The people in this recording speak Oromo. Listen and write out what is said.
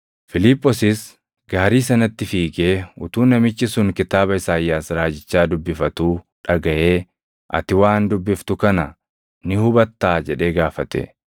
Fiiliphoosis gaarii sanatti fiigee utuu namichi sun kitaaba Isaayyaas raajichaa dubbifatuu dhagaʼee, “Ati waan dubbiftu kana ni hubattaa?” jedhee gaafate.